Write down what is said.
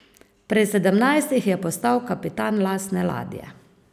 Pri sedemnajstih je postal kapitan lastne ladje.